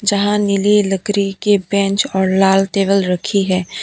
जहां नीली लकड़ी के बेंच और लाल टेबल रखी है।